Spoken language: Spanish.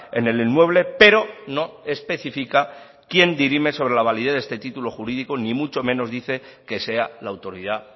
en el inmueble pero no especifica quién dirime sobre la validez de este título jurídico ni mucho menos dice que sea la autoridad